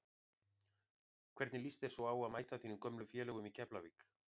Hvernig lýst þér svo á að mæta þínum gömlu félögum í Keflavík?